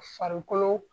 Farikolo